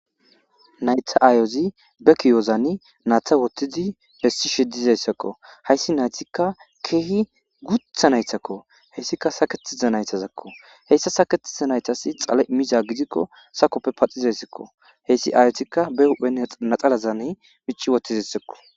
Nayta aayozi be kiyozani naata wotidi bessi shedizayssakko hayssi naytikka keehi gutha naytakko heyssika saketiza naytazakko heyssa saketiza naytasi xala imiza gidikko sakoppe paxizayssakko heyssi aayotikka be hu'en naxalazane mici wotizayssakko